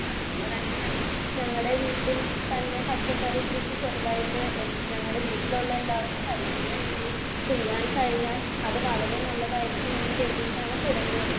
അതുകൊണ്ട് തന്നെ ഞങ്ങൾ ഞങ്ങടെ വീട്ടിൽ തന്നെ പച്ചക്കറിക്കൃഷി ചെറുതായിട്ട് ഞങ്ങടെ വീട്ടിലുള്ള എല്ലാവര്ക്കും കഴിക്കുന്ന രീതിയിൽ ചെയ്യാൻ കഴിഞ്ഞാൽ അത് വളരെ നല്ലതായിരിക്കുമെന്നു കരുതിയിട്ടാണ് തുടങ്ങിയത്